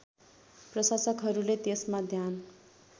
प्रशासकहरूले त्यसमा ध्यान